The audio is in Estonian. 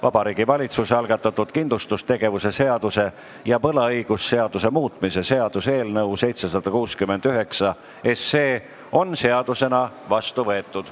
Vabariigi Valitsuse algatatud kindlustustegevuse seaduse ja võlaõigusseaduse muutmise seaduse eelnõu on seadusena vastu võetud.